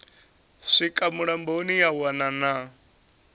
swika mulamboni ya wana na